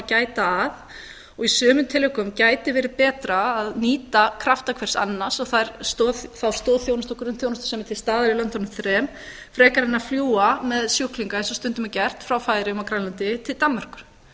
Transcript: gæta að og í sumum tilvikum gæti verið betra að nýta krafta hvers annars og þá stoðþjónustu og grunnþjónustu sem er til staðar í löndunum þremur frekar en að fljúga með sjúklinga eins og stundum er gert frá færeyjum og grænlandi til danmerkur